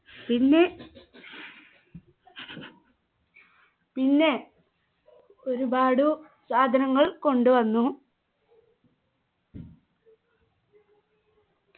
പിന്നെ പിന്നെ ഒരുപാടു സാധനങ്ങൾ കൊണ്ടുവന്നു